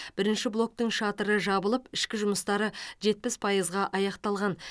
бірінші блоктың шатыры жабылып ішкі жұмыстары жетпіс пайызға аяқталған